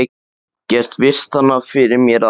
Get virt hana fyrir mér að aftan.